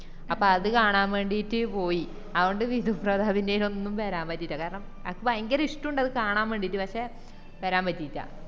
അപ്പൊ അത് കാണാൻ വേണ്ടീറ്റ് പോയി അത്കൊണ്ട് വിധുപ്രതാപിന്റെനൊന്നും വേരാൻ പറ്റിറ്റ്ല കാരണം എനക് ഭയങ്കര ഇഷ്ട്ടൊണ്ട് അത് കാണാൻ വേണ്ടിറ്റ് പക്ഷെ വരാൻ പറ്റിറ്റ്ല